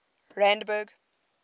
randburg